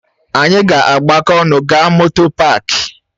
Ànyị ga-agbakọ ọnụ gaa moto páák?